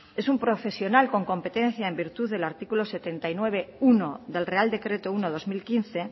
es un profesional con competencia en virtud del artículo setenta y nueve punto uno del real decreto uno barra dos mil quince